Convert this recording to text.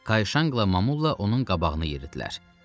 Kay Şanq və Mamunla onun qabağını yeridilər.